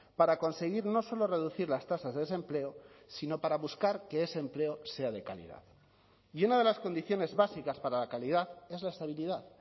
para conseguir no solo reducir las tasas de desempleo sino para buscar que ese empleo sea de calidad y una de las condiciones básicas para la calidad es la estabilidad